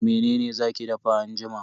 Mene za ki dafa anjima?